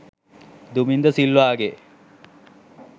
Duminda සිල්වාගේ